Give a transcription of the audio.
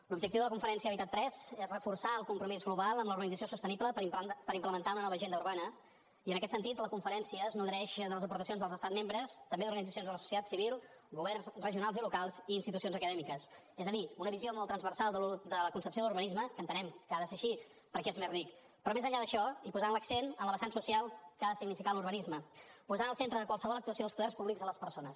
l’objectiu de la conferència habitat iii és reforçar el compromís global amb la urbanització sostenible per implementar una nova agenda urbana i en aquest sentit la conferència es nodreix de les aportacions dels estats membres també d’organitzacions de la societat civil governs regionals i locals i institucions acadèmiques és a dir una visió molt transversal de la concepció de l’urbanisme que entenem que ha de ser així perquè és més ric però més enllà d’això i posant l’accent en la vessant social que ha de significar l’urbanisme posant al centre de qualsevol actuació dels poders públics les persones